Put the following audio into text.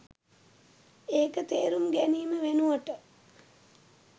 ඒක තේරුම් ගැනීම වෙනුවට